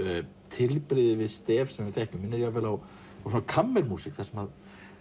tilbrigði við stef sem við þekkjum minnir jafnvel á kammermúsík þar sem